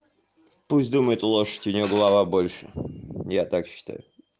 пусть думает лошадь у неё голова больше я так считаю